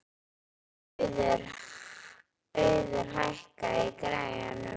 Auður, hækkaðu í græjunum.